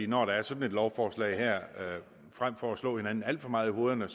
når der er sådan et lovforslag her at vi frem for at slå hinanden alt for meget i hovederne